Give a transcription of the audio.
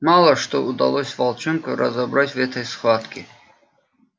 мало что удалось волчонку разобрать в этой схватке